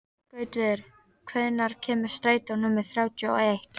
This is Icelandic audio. Gautviður, hvenær kemur strætó númer þrjátíu og eitt?